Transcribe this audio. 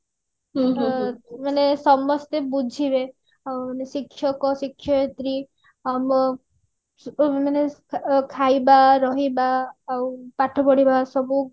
ମାନେ ସମସ୍ତେ ବୁଝିବେ ଉଁ ଶିକ୍ଷକ ଶିକ୍ଷୟତ୍ରୀ ଆଉ ମାନେ ମାନେ ଖାଇବା ରହିବା ପାଠ ପଢିବା ସବୁ